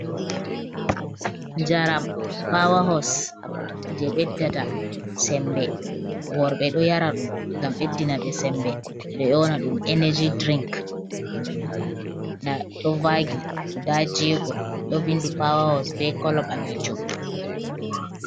Njaram pawa hos je ɓeɗdata sembe worɓe ɗo yara ɗum ngam ɓeddina ɓe sembe ɓeɗo dyona ɗum energy drink, nda ɗo vagi guda jego ɗo vindi pawa hos be kolo ɓalejum.